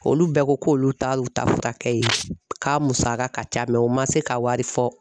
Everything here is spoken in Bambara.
Olu bɛɛ ko k'olu t'a lu ta furakɛ ye, k'a musaka ka ca u ma se ka wari fɔ.